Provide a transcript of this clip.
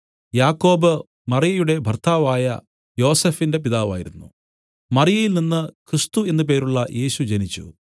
യാക്കോബ് മറിയയുടെ ഭർത്താവായ യോസഫിന്റെ പിതാവായിരുന്നു മറിയയിൽ നിന്നു ക്രിസ്തു എന്നു പേരുള്ള യേശു ജനിച്ചു